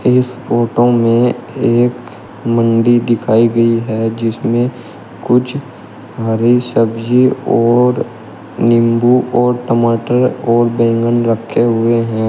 इस फोटो में एक मंडी दिखाई गई है जिसमें कुछ हरी सब्जी और नींबू और टमाटर और बैंगन रखे हुए हैं।